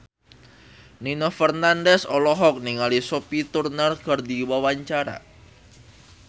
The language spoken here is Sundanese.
Nino Fernandez olohok ningali Sophie Turner keur diwawancara